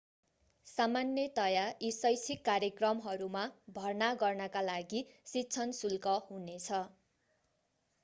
सामान्यतयाः यी शैक्षिक कार्यक्रमहरूमा भर्ना गर्नका लागि शिक्षण शुल्क हुनेछ